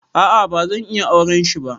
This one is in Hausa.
A'a bazan iya auren shi ba.